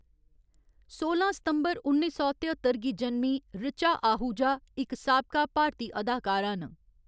सोलां सितंबर उन्नी सौ तेअत्तर गी जनमीं ऋचा आहूजा इक साबका भारती अदाकारा न।